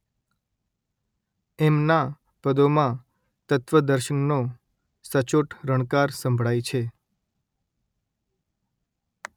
તેમનાં પદોમાં તત્વદર્શનનો સચોટ રણકાર સંભળાય છે